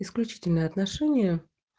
исключительные отношения